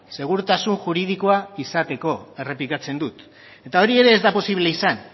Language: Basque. segurtasun juridikoa izateko errepikatzen dut eta hori ere ez da posible izan